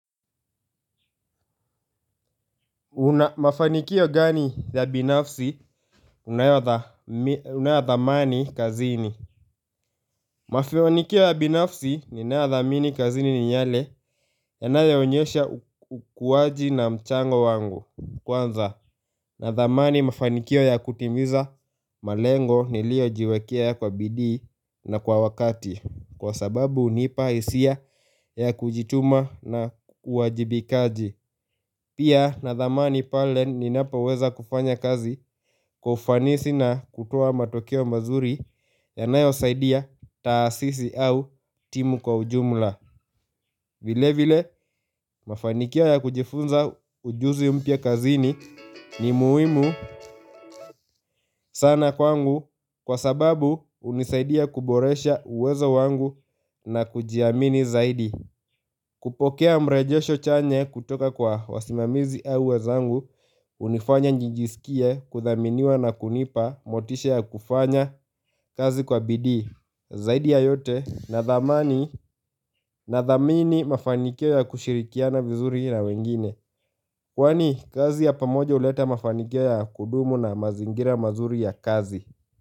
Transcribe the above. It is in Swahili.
Una mafanikio gani ya binafsi unayadhamani kazini Mafanikio ya binafsi ninayodhamini kazini ni yale yanayoonyesha ukuwaji na mchango wangu Kwanza nadhamani mafanikio ya kutimiza malengo niliojiwekea kwa bidii na kwa wakati kwa sababu hunipa hisia ya kujituma na uwajibikaji Pia nadhamani pale ninapaweza kufanya kazi kwa ufanisi na kutoa matokeo mazuri yanayosaidia taasisi au timu kwa ujumla vile vile mafanikio ya kujifunza ujuzi mpya kazini ni muhimu sana kwangu kwa sababu hunisaidia kuboresha uwezo wangu na kujiamini zaidi kupokea mrejesho chanya kutoka kwa wasimamizi au wenzangu hunifanya nijisikie kuthaminiwa na kunipa motisha ya kufanya kazi kwa bidii Zaidi ya yote nadhamani nadhamini mafanikio ya kushirikiana vizuri na wengine Kwani kazi ya pamoja huleta mafanikio ya kudumu na mazingira mazuri ya kazi.